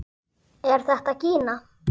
Er þetta gína?